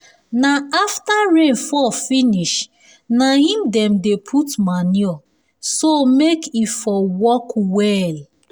na after rain fall finish na im dem dey put manure so make e for work well um